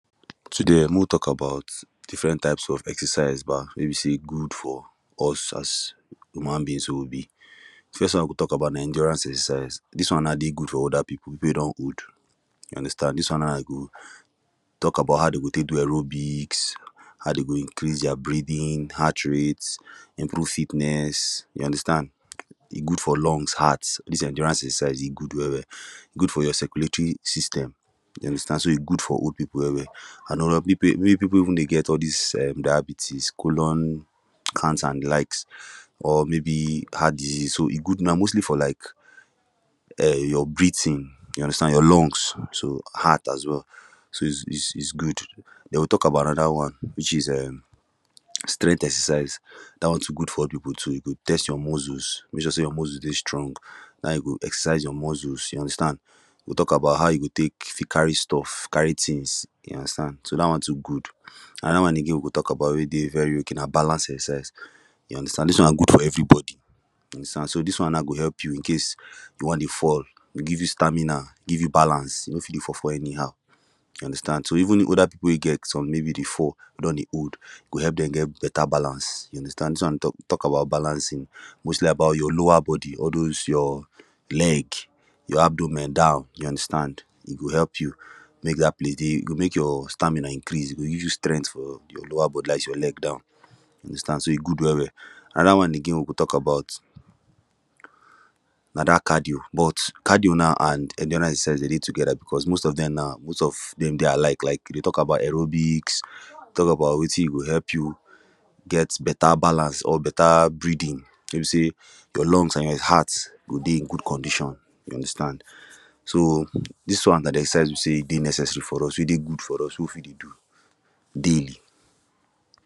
Today mek we talk about different type of exercise ba wey be say good for us as human beings wey we be first one I go talk about na endurance exercise dis one nai dey good for older people wey don old you understand dis one nai go tok about how dem go tek do aerobics how dey go increase dia breating heart rate improve fitness you understand e good for lungs heart most of de exercise e good well well e good for your circulatory system you understand so e good for old people well well and oda people wey people wey dey get all dis um diabetes colon cancer an de likes or maybe heart disease so e good na mostly for like um your breathing you understand your lungs so heart as well so is is good we go tok about anoda one wich is um strength exercise dat one too good for old people too e go test your muscles mek sure say your muscles dey strong and e go exercise your muscles you understand we go tok about how you go tek fit carry stuff carry tings you understand so dat one too good anoda one again we go tok about wey dey very okay na balance exercise you understand dis one good for everybody you understand so dis one now go help you incase you wan dey fall e go give you stamina give you balance you no fit dey fall fall anyhow you understand so even oda people wey get some dey fall don dey old e go help dem get beta balance you understand dis one tok about balancing mostly about your lower body all those your leg your abdomen down you understand e go help you mek dat place dey e go mek your stamina increase e go give you strength for your lower body dat is your leg down you understand so e good well well anoda one again we go tok about na dat cardio but cardio now and endurance exercise dem dey togeda becos most of dem now most of dem like like dem dey tok about aerobics talk about wetin go help you get beta balance or beta breathing wey be say your lungs an your heart go dey in good condition you understand so dis one na de exercise wey be say dey necessary for us wey dey good for us wey we fit dey do daily.